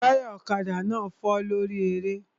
Táyà ọ̀kadà náà fọ́ lórí eré